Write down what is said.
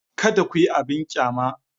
Kada ku yi abin ƙyama.